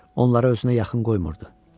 Onları özünə yaxın qoymurdu.